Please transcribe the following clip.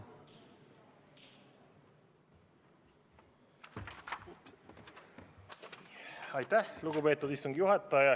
Aitäh, lugupeetud istungi juhataja!